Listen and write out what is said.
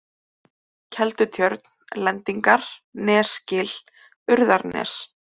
Keldutjörn, Lendingar, Nesgil, Urðarnes